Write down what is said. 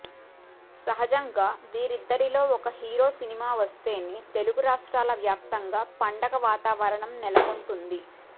సహజంగా వీరిద్దరిలో ఒక హీరో సినిమా వస్తేనే తెలుగు రాష్ట్రాల వ్యాప్తంగా పండుగ వాతావరణం నెలకొంటుంది